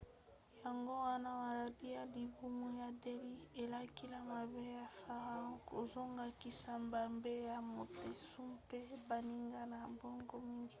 yango wana maladi ya libumu ya delhi elakeli mabe ya farao kozongisa mabe ya montezuma mpe baninga na bango mingi